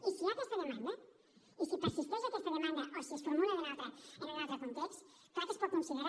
i si hi ha aquesta demanda i si persisteix aquesta demanda o si es formula en un altre context clar que es pot considerar